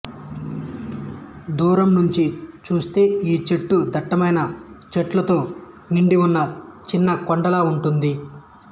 దూరం నుంచి చూస్తే ఈ చెట్టు దట్టమైన చెట్లతో నిండిఉన్న చిన్న కొండలాగా ఉంటుంది